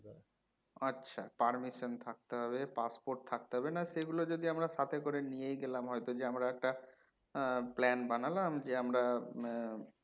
আচ্ছা permission থাকতে হবে passport থাকতে হবে না সেগুলো যদি আমরা সাথে করে নিয়েই গেলাম হয়তো যে আমরা একটা হম plan বানালাম যে আমরা উম